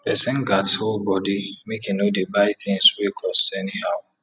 pesin gats hold bodi make e no dey buy tins wey cost any how